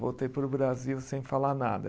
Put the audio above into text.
Voltei para o Brasil sem falar nada.